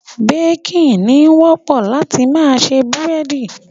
Baking, ni wọ́pọ̀ láti ma se búrẹ́dí